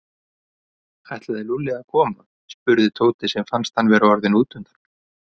Ætlaði Lúlli að koma? spurði Tóti sem fannst hann vera orðinn útundan.